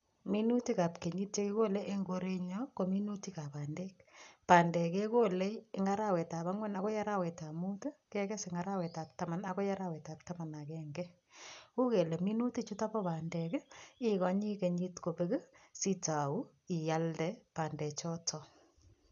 Minutikab kenyit che kigole eng koret nyu, ko minutikab bandek. Bandek kegole eng arawetab angwan agoi arawetab mut, kekes en arawetab taman agoi arawetab taman ak agenge. Uiy kele minutik chutok ko bandek, ikonyi kenyit kobek sitau ialde bandek chotok